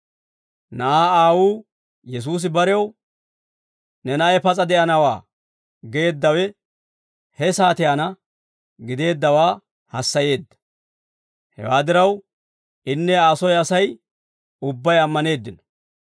Na'aa aawuu Yesuusi barew, «Ne na'ay pas'a de'anawaa» geeddawe he saatiyaanna gideeddawaa hassayeedda. Hewaa diraw, inne Aa soy Asay ubbay ammaneeddino.